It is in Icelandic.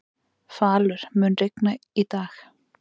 Falur, mun rigna í dag?